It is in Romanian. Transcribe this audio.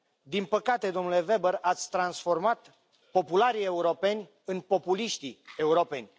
Din păcate, domnule Weber, ați transformat popularii europeni în populiștii europeni.